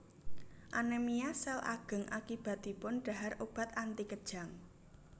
Anemia sel ageng akibatipun dhahar obat anti kejang